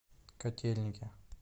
котельники